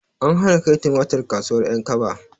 An hana kai tumatir kasuwar ƴankaba